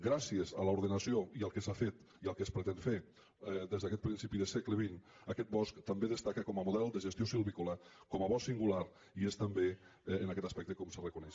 gràcies a l’ordenació i al que s’ha fet i al que es pretén fer des d’aquest principi de segle xx aquest bosc també destaca com a model de gestió silvícola com a bosc singular i és també en aquest aspecte com se reconeix